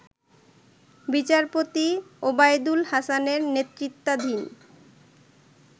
বিচারপতি ওবায়দুল হাসানের নেতৃত্বাধীন